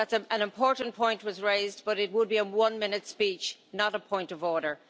An important point was raised, but it would be a one minute speech, not a point of order.